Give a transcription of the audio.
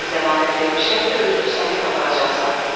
Mən zəmanət vermişəm ki, özünü sakit aparacaqsan.